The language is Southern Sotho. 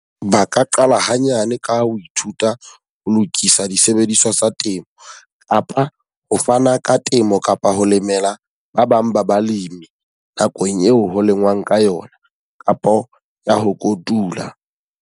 Ba ka qala hanyane ka ho ithuta ho lokisa disebediswa tsa temo. Kapa ho fana ka temo kapa ho lemela ba bang ba balemi nakong eo ho lengwang ka yona. Kapa ya ho kotula.